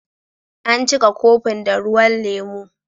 An cika kofin da ruwan lemu.